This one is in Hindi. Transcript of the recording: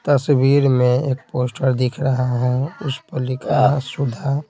तस्वीर में एक पोस्टर दिख रहा है उस पर लिखा है सुधा।